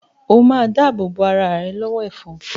O ma dáàbò bo arà rẹ lọ́wọ́ “ ẹ̀fọn”.